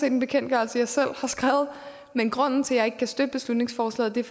en bekendtgørelse jeg selv har skrevet men grunden til at jeg ikke kan støtte beslutningsforslaget er